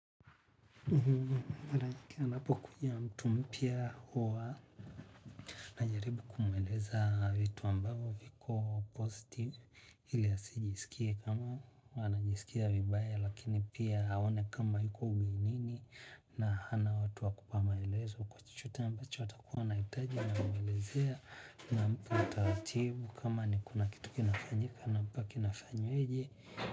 Anapokuja mtu mpia huwa najaribu kumweleza vitu ambao viko positive ili asijisikie kama anajisikia vibaya lakini pia aone kama iko uminini na hana watu wakupa maelezo kwa chochote ambacho atakuwa naitaji na mwelezea na mtu mtawativu kama ni kuna kitu kinafanyika na mpa kina fanyeje.